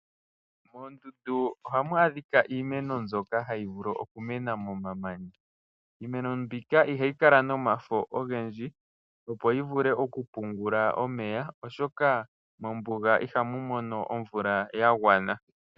Moondunda ohamu adhika iimeno mbyoka hayi vulu omu mena momamanya. Iimeno mbika ihayi kala nomafo ogendji opo yi vule oku pungula omeya ,oshoka mombuga ihamu lokwa omvula ya gwana.